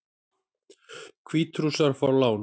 Hvítrússar fá lán